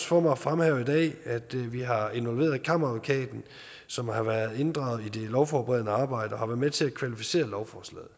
for mig at fremhæve i dag at vi har involveret kammeradvokaten som har været inddraget i det lovforberedende arbejde og har været med til at kvalificere lovforslaget